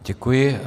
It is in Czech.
Děkuji.